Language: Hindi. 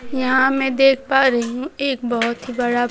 यहां मैं देख पा रही एक बहोत ही बड़ा--